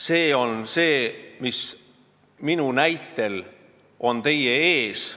See on see, mis on minu näitel teie ees.